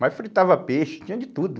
Mas fritava peixe, tinha de tudo.